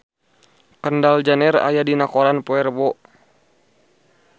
Kendall Jenner aya dina koran poe Rebo